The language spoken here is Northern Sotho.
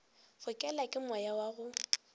fokelwa ke moya wa go